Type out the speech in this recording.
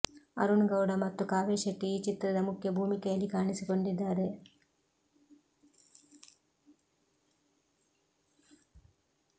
ಅರುಣ್ ಗೌಡ ಮತ್ತು ಕಾವ್ಯಾ ಶೆಟ್ಟಿ ಈ ಚಿತ್ರದ ಮುಖ್ಯ ಭೂಮಿಕೆಯಲ್ಲಿ ಕಾಣಿಸಿಕೊಂಡಿದ್ದಾರೆ